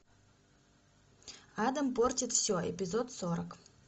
адам портит все эпизод сорок